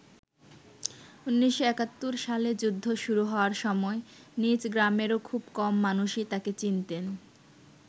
১৯৭১ সালে যুদ্ধ শুরু হওয়ার সময় নিজ গ্রামেরও খুব কম মানুষই তাকে চিনতেন।